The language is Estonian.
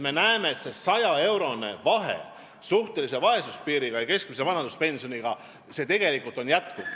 Me näeme, et see saja euro suurune vahe suhtelise vaesuse piiri ja keskmise vanaduspensioni vahel on jätkuv.